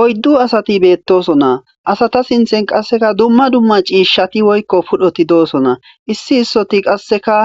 Oyddu asati beettosona asata sinthen qasseka dumma dumma ciishshati woykko pudhoti doosona issi issoti qasseka